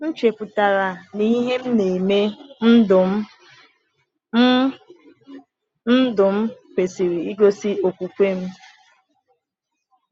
M chepụtara na ihe m na-eme n’ndụ m n’ndụ m kwesịrị igosi okwukwe m.